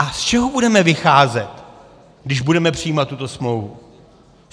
A z čeho budeme vycházet, když budeme přijímat tuto smlouvu?